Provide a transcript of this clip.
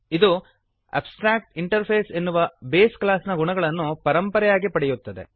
ಇದು ಅಬ್ಸ್ಟ್ರಾಕ್ಟಿಂಟರ್ಫೇಸ್ ಎನ್ನುವ base class ನ ಗುಣಗಳನ್ನು ಪರಂಪರೆಯಾಗಿ ಪಡೆಯುತ್ತದೆ